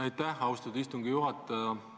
Aitäh, austatud istungi juhataja!